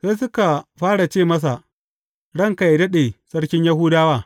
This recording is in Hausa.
Sai suka fara ce masa, Ranka yă daɗe sarkin Yahudawa!